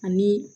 Ani